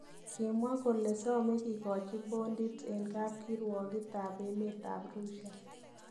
Kimwaa kole somee kigochi bondit en kapkirowogitab emet ab Rusia.